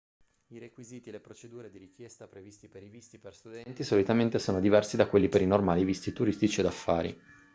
i requisiti e le procedure di richiesta previsti per i visti per studenti solitamente sono diversi da quelli per i normali visti turistici o d'affari